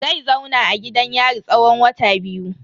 Zai zauna a gidan yari tsawon wata biyu.